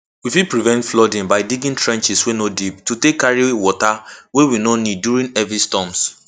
we fit prevent flooding by digging trenches wey no deep to take carry water wey we no need during heavy storms